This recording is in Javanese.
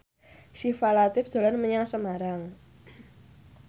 Syifa Latief dolan menyang Semarang